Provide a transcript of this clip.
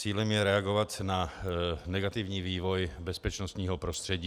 Cílem je reagovat na negativní vývoj bezpečnostního prostředí.